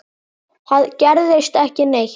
Það gerist ekki neitt.